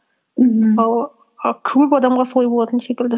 мхм ал ы көп адамға солай болатын секілді